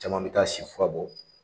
Caman mi taa sifu bɔ